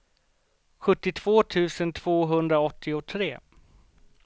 sjuttiotvå tusen tvåhundraåttiotre